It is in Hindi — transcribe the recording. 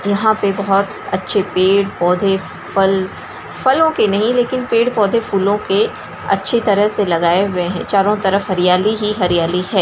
यहाँ पे बहुत अच्छे पेड़-पौधे फल फलों के नहीं लेकिन पेड़-पौधे फूलों के अच्छी तरह से लगाए हुए हैं। चारो तरफ हरियाली ही हरियाली है।